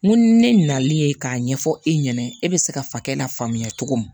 N ko ni ne na n'i ye k'a ɲɛfɔ e ɲɛna e bɛ se ka fakɛ la faamuya cogo min